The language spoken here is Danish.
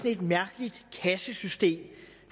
et mærkeligt kassesystem